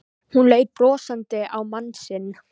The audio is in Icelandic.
Hún leit brosandi á mann sinn.